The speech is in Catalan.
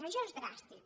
això és dràstic